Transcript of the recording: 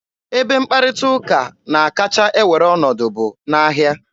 Ebe mkparịta ụka na-akacha ewere ọnọdụ bụ n'ahịa.